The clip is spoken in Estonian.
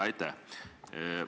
Aitäh!